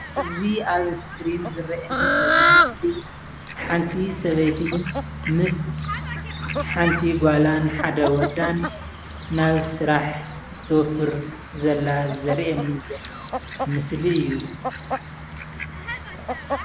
እዚ ኣብ እስክሪን ዝረአየኒ ዘሎ ምስሊ ሓንቲ ሰበይቲ ምስ ሓንቲ ጓላን ሓደ ወዳን ናብ ስራሕ እትወፍር ዘላ ዘርእየኒ ዘሎ ምስሊ እዩ፡፡